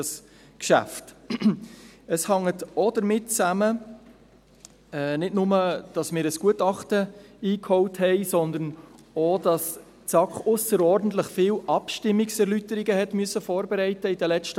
Dies hängt nicht nur damit zusammen, dass wir ein Gutachten eingeholt haben, sondern auch damit, dass die SAK während der letzten Monate ausserordentlich viele Abstimmungserläuterungen vorbereiten musste.